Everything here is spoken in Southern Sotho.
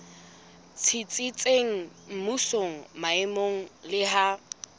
tsitsitseng mmusong maemong le ha